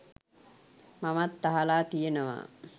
මමත් අහලා තියෙනවා